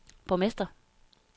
borgmester